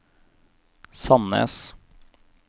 Sandnes